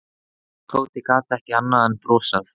Tóti gat ekki annað en brosað.